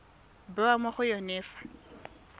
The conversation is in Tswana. bewa mo go yone fa